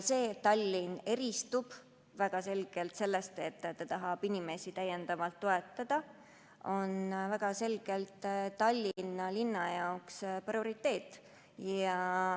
See, et Tallinn eristub sellega, et ta tahab inimesi täiendavalt toetada, on väga selgelt Tallinna linna jaoks prioriteet.